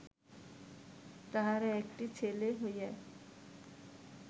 তাহার একটি ছেলে হইয়া